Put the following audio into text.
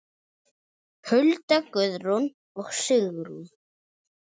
Hulda, Guðrún og Sigrún.